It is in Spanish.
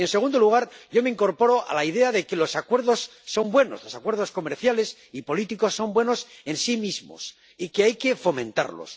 Y, en segundo lugar, yo me incorporo a la idea de que los acuerdos son buenos los acuerdos comerciales y políticos son buenos en sí mismos y hay que fomentarlos